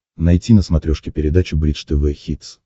найти на смотрешке передачу бридж тв хитс